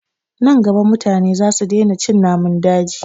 Nan gaba mutane za su daina cin namun daji